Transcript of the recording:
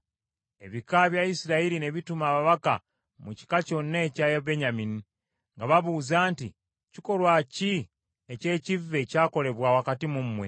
Ebika bya Isirayiri ne bituma ababaka mu kika kyonna ekya Benyamini, nga babuuza nti, “Kikolwa ki eky’ekivve ekyakolebwa wakati mu mmwe?